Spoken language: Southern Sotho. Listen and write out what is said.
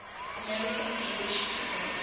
american jewish people